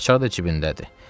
Açar da cibindədir.